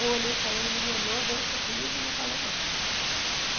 Eu olhei para ele, ele me olhou, deu um sorriso e não falou mais.